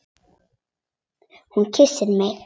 Hún kyssti mig!